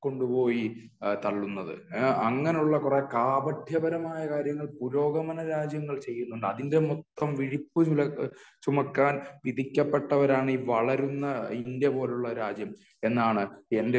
കൊണ്ടുപോയി തള്ളുന്നത്. അങ്ങനെയുള്ള കുറെ കാപട്യപരമായ കാര്യങ്ങൾ പുരോഗമന രാജ്യങ്ങൾ ചെയ്യുന്നുണ്ട്. അതിന്റെ മൊത്തം വിഴുപ്പ് ചുമക്കാൻ വിധിക്കപ്പെട്ടവരാണ് ഈ വളരുന്ന ഇന്ത്യ പോലുള്ള രാജ്യം എന്നാണ്